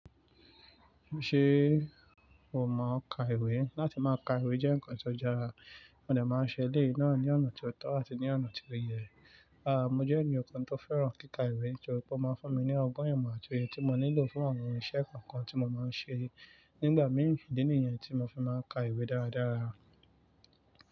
Ṣé o mọ ka ìwé? Láti má ka ìwé jẹ́ nǹkan tó jára, wọ́n lè máa ṣe lé ìná ni ọ̀nà tó tọ́ àti ní ọ̀nà tí ó yẹ. Aà, mo jẹ́ ènìyàn kan tó fẹ́ràn kíkà ìwé torí pé ó máa ń fún mi ní ọgbọ́n ìmọ àti ohun tí mo nílò fún àwọn irinṣẹ́ kan kan tí mo máa ń ṣe. Nígbà mìí, ìdí nìyẹn tí mo fi máa ń ka ìwé dára dára.